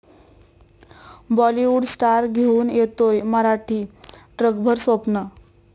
Bollywood star घेऊन येतोय मराठी 'ट्रकभर स्वप्न'